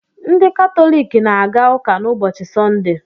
Ndị Katọlik na-aga ụka n'ụbọchị Sọnde.